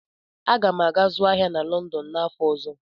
Aga m aga zụọ ahịa na Lọndọn n'afọ ọzọ.